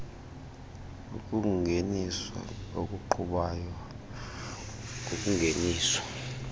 ukungeniswa okuqhubayo kokungeniswa